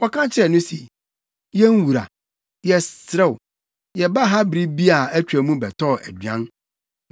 Wɔka kyerɛɛ no se, “Yɛn wura, yɛsrɛ wo, yɛbaa ha bere bi a atwa mu bɛtɔɔ aduan.